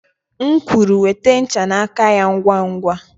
M kwuru, nweta ncha n'aka ya ngwa ngwa!